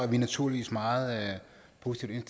vi naturligvis meget positivt